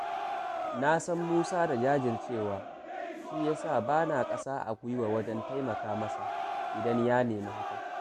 Na san Musa da jajircewa shi ya sa ba na ƙasa a gwiwa wajen taimaka masa, idan ya nemi hakan